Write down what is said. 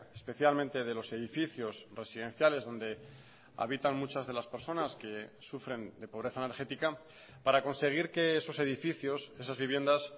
especialmente de los edificios residenciales donde habitan muchas de las personas que sufren de pobreza energética para conseguir que esos edificios esas viviendas